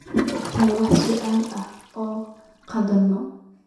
Ma ogtahay wax su'aalo ah oo an qaadno?